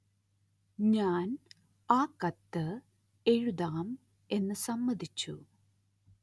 ഞാന്‍ ആ കത്ത് എഴുതാം എന്ന് സമ്മതിച്ചു